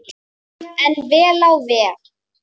En vel á veg.